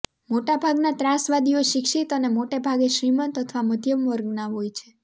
મોટાભાગના ત્રાસવાદીઓ શિક્ષિત અને મોટાભાગે શ્રીમંત અથવા મધ્યમવર્ગના હોય છે